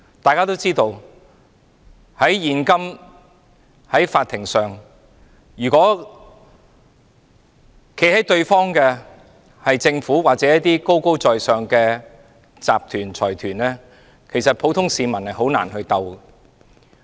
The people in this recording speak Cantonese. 大家也知道，如果對簿公堂的是政府或高高在上的集團和財團，普通市民是很難與之對抗的。